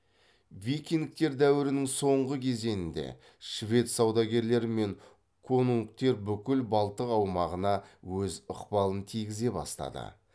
викингтер дәуірінің соңғы кезенінде швед саудагерлері мен конунгтер бүкіл балтық аумағына өз ықпалын тигізе бастады